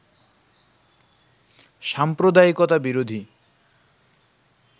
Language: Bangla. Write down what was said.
সাম্প্রদায়িকতা বিরোধী